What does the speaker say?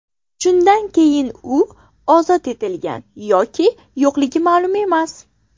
Shundan keyin u ozod etilgan yoki yo‘qligi ma’lum emas.